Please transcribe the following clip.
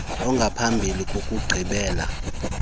ongamphambi kokugqibela kokuhlala